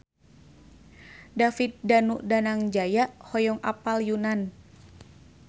David Danu Danangjaya hoyong apal Yunan